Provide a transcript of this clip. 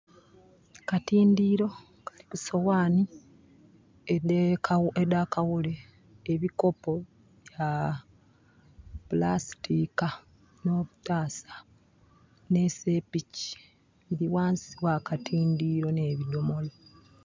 Akatindiiro kaliku soghanhi edha kawule ebikopo bya pulastika nho butasa nhe sepiki biri ghansi gha ka tindiiro nhe bidhomolo